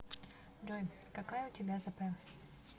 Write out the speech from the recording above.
джой какая у тебя зп